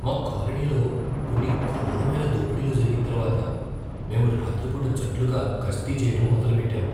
మా కాలనీలో కొన్ని ఘోరమైన దోపిడీలు జరిగిన తరువాత మేము రాత్రి పూట జట్లుగా గస్తీ చెయ్యడం మొదలుపెట్టాము.